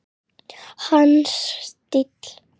Hans stíll.